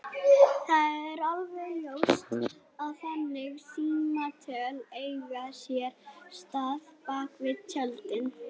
Það er alveg ljóst að þannig símtöl eiga sér stað bak við tjöldin.